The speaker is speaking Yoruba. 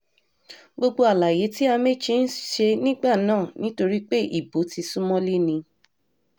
gbogbo àlàyé tí amaechi ń ṣe nígbà náà nítorí pé ibo ti sún mọ́lé ni